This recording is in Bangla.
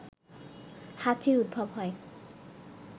হাঁচির উদ্ভব হয়